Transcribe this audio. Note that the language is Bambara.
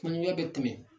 Kunuɲɛ bɛ tɛmɛ